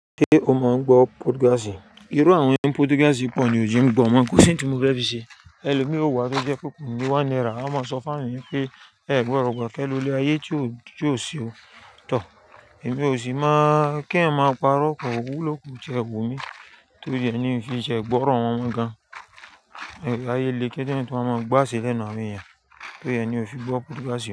Ṣé o mọ̀ n gbọ́ podcast? Irú àwọn ẹni podcast pọ̀ ní ò je ń gbọ́ mọ́, kò sí ohun tí mo fẹ́ fi ṣe. Ẹlòmíì o wá tó jẹ́ pé ko ni one náírà á máa sọ fún eeyanbpé "Ẹ gbọ́do gba kẹ́ lọ ilé ayé tí ó ṣe ó, tọ̀." Èmi ò sì máa kí èèyàn parọ́, kò wúlò, kò ti e wun mi, to ri re ni i se se gbọ́ ọ̀rọ̀ wọn mọ gan-an. Ẹ, ayé le pe k'èèyàn tún wa máa gbọ́ aaṣe lẹ́nu àwọn èèyàn, tó ri re ni ò fi gbọ́ podcast mọ́.